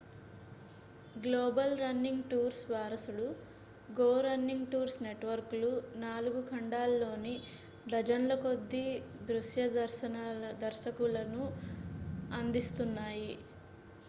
global running tours వారసుడు go running tours నెట్వర్క్లు 4 ఖండాల్లోని డజన్ల కొద్దీ దృశ్య దర్శకులను అందిస్తున్నాయి